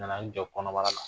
Nana i jɔ kɔnɔbara la.